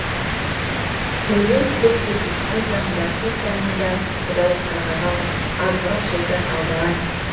тәубем көп деп мақтансаң барсисаны да құдай қарғаған азғырып шайтан алдаған